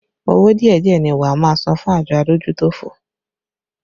Owó díẹ̀díẹ̀ ni wá máa san fún àjọ adójútòfò